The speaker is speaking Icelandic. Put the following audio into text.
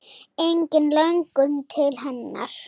Engin löngun til hennar.